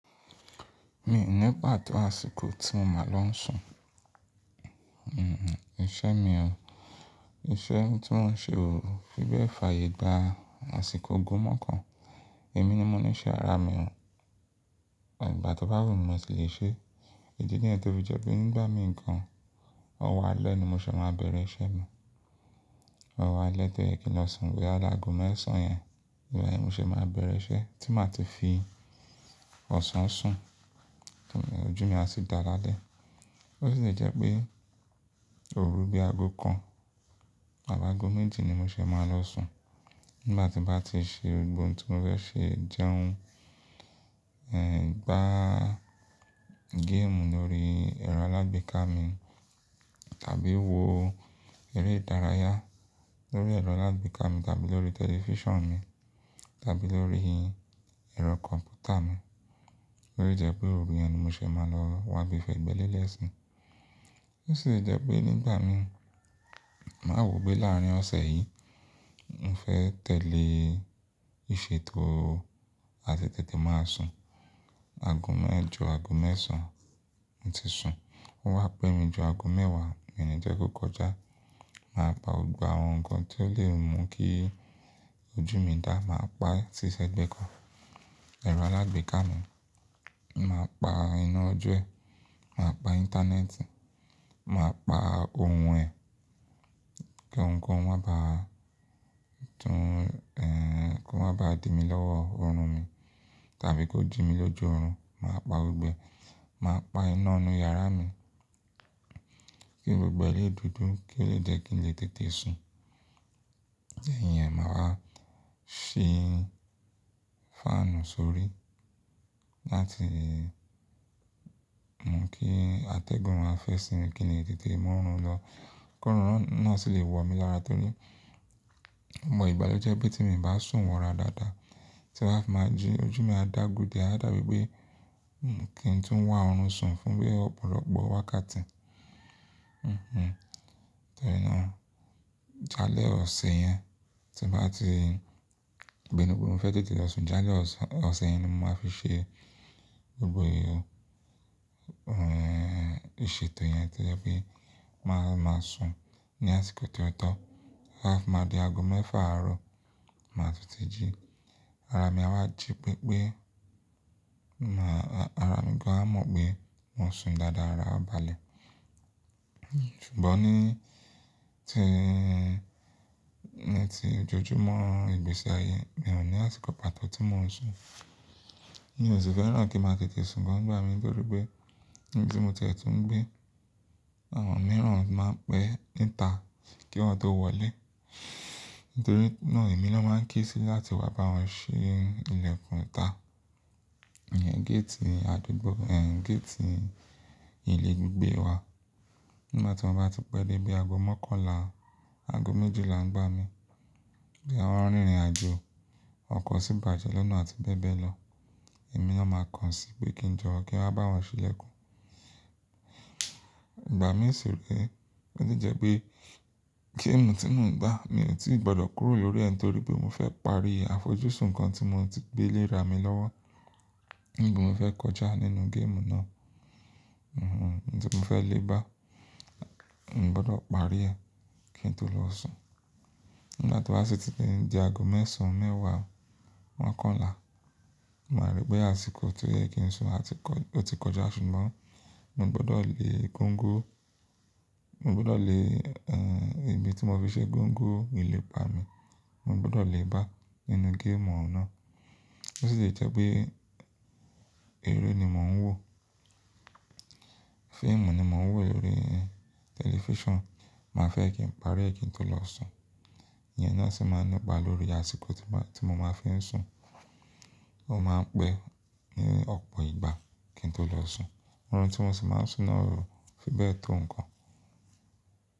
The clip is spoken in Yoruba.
Mi ò ní pàtó àsìkò tí mo máa lọ sùn. Iṣẹ́ mi o, iṣẹ́ tí mò ń ṣe o, fíbẹ̀ fàyè gba àsìkò ogún mọ́kàn. Èmi ni mo ní iṣẹ́ ara mi o. Ìgbà tí bá wù mí mo sì lè ṣe é. Ìdí nìyẹn tó fi jẹ pé nígbà mìíràn, ọ̀wọ́ alẹ́ ni mo ṣé máa bẹ̀rẹ̀ iṣẹ́ mi. Ọ̀wá alẹ́ tó yẹ kí n lọ sùn bóyá láàgon mẹ́sàn-án yẹn ni mo ṣé máa bẹ̀rẹ̀ iṣẹ́ tí màá ti fi ọ̀sán sùn, ojú mi a sì dáa lálẹ́. Ó sì lè jẹ́ pé òru bí aago kan àbí àago méjì ni mo ṣé máa lọ sùn. Nígbà tí mbá ti ṣe gbogbo ohun tí mò fẹ́ ṣe jẹun, gba game lórí ẹ̀rọ alágbèéká mi tàbí wo eré ìdárayá lórí ẹ̀rọ alágbèéká mi tàbí lórí tẹlifíṣàn mi tàbí lórí ẹ̀rọ kọ̀m̀pútà mi. Ó lẹ̀ jẹ́ pé òru yẹn ni mo ṣé máa lọ wá gbé fẹ́ gbe lélẹ̀ sùn. Ó sì lè jẹ́ pé nígbà mi, má wò pé láàárín ọ̀sẹ̀ yìí, mo fẹ́ tẹ̀lé ìṣètò a ti tètè máa sùn. Aago mẹ́ẹ̀jọ, aago mẹ́sàn-án mo ti sùn, ó wá pẹ́ mi ju aago mẹ́wàá, mi ni jẹ́ kó kọjá. Màá pa gbogbo àwọn nǹkan tí ó lè mú kí ojú mi dà, màá pa tí sẹ́gbẹ́ kan, ẹ̀rọ alágbèéká mi, màá pa iná ojú ẹ, màá pa íńtánẹ́ẹ̀tì, màá pa ohun ẹ̀ kí ohunkóhun má bàá tún, kí wọ́n má bàá di mí lọ́wọ́ ọrùn mi tàbí kó jí mi lójú ọrùn. Màá pa gbogbo, màá pa iná inú yàrá mi kí gbogbo ilé dùdù, kí ó lè jẹ́ kí n lè tètè sùn. Ndẹ́yìn yẹn màá wá ṣí fáànù sórí láti mú kí atẹ́gùn má fẹ́ sí mi kí ni lè tètè mú ọrùn lọ kó ọrùn náà sì lè wọ̀ mí lára torí mo mọ ìgbà lọ́ jẹ́ pé tí mo bá sùn wọra dáadáa, tímbá fi máa jí, ojú mi máa dà á gùdàí, a dàbí pé kí n tún wá ọrùn sùn fún bí ọ̀pọ̀lọpọ̀ wákàtí. Òò. Torí náà, jálẹ̀ ọ̀sẹ̀ yẹn tí mbá ti pínú mo fẹ́ tètè lọ sùn, jálẹ̀ ọ̀sẹ̀ yẹn ni mo máa fi ṣe gbogbo ohun ìṣètò yẹn tí jẹ́ pé màá sùn ní àsìkò tí ọ̀tọ̀ọ̀ tó, tó bá. Fi má di aago mẹ́fà àárọ̀, màá tètè jí. Ara mi a wá jí pẹ́ pé, àra mi gan à mọ̀ pé mo sùn dáadáa, ara a bàlẹ̀. Ṣùgbọ́n ní ti ọjojúmọ́ ìgbésí ayé mi ò ní àsìkò pàtó tí mò ń sùn. Mi ò sì fẹ́ràn kí n máa tètè sùn gan nígbà mi nítorí pé ibi tí mo tẹ̀tù ń gbé, àwọn mìíràn máa ń pẹ́ níta kí wọ́n tó wọlé nítorí náà èmi ló máa ń ké sí láti wá bá wọn ṣì ilẹ̀kùn níta. Ìyẹn géètì àdúgbò, géètì ilé gbígbé wa. Nígbà tí wọ́n bá ti pẹ́ dé bí i aago mọ́kànlá, aago méjìlá ń gbá mi, bóyá wọ́n rí ìrìnàjò ọ̀kọ̀ọ́ sì bàjẹ́ lọ́nà àti bẹ́ẹ̀ bẹ́ẹ̀ lọ, èmi ló máa kan sí pé kí n jọ̀ọ́ kí n wá bá wọn ṣe ilẹ̀kùn. Ìgbà mìíràn sì rí, ó sì jẹ́ pé game tí mò ń gbá, mi ò tíì gbọdọ̀ kúrò lórí ẹ torí pé mo fẹ́ parí àfojúsùn nǹkan tí mò ti gbé lé ra mi lọ́wọ́. Ní bí mo fẹ́ kọjá nínú game náà? Òò, nítorí mo fẹ́ le bá, mo gbọdọ̀ parí ẹ kí n tó lọ sùn. Nígbà tí wá sì ti di aago mẹ́sàn-án, mẹ́wàá, mọ́kànlá, màá rí pé àsìkò tó yẹ kí n sùn a ti kọjá ṣùgbọ́n mo gbọdọ̀ le gúńgún, mo gbọdọ̀ le ibi tí mo fi ṣe gúńgún ilẹ̀pa mi, mo gbọdọ̀ le bá nínú game náà. Ó sì lè jẹ́ pé eré ni mò ń wò, fíìmù ni mò ń wò lórí tẹlifíṣàn, màá fẹ́ kí n parí ẹ kí n tó lọ sùn. Ìyẹn náà sì máa ńipa lórí àsìkò tí mo máa fi ń sùn, ó máa ń pẹ́ ní ọ̀pọ̀ ìgbà kí n tó lọ sùn. Ohun tí mò sì máa ń sùn náà o, bíbẹ̀ tó nǹkan.